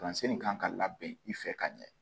Kalansen nin kan ka labɛn i fɛ ka ɲɛ